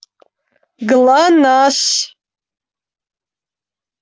глонассс